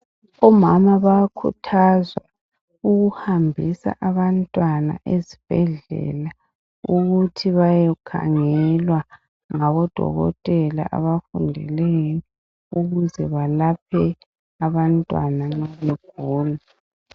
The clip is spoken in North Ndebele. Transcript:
Omama bayakhuthazwa ukuhambisa abantwana ezibhedlela ukuthi bayokhangelwa ngabo dokotela abafundileyo ukuze balaphe abantwana nxa begula.